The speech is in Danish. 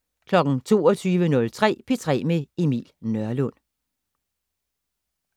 22:03: P3 med Emil Nørlund